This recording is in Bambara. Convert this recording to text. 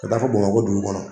Ka t'a fɔ Bamakɔ dugu kɔnɔ.